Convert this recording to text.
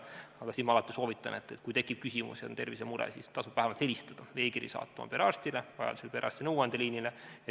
Aga ma soovitan alati: kui tekib küsimusi ja on tervisemure, siis tasub vähemalt helistada või saata e-kiri perearstile või perearsti nõuandeliinile.